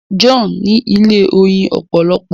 John ní ilé oyin opolopo.